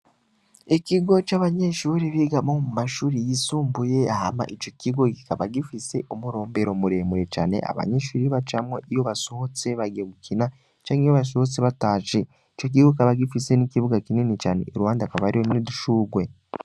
Ikigo c,abanyeshure bigamwo mu mashure yisumbuye, hama ico kigo kikaba gifise umurombero muremure cane, abanyeshure bacamwo iyo basohotse bagiye gukina canke iyo basohotse batashe, ico kigo kikaba gifise n,ikibuga kinini cane iruhande hakaba hariho n,udushugwe.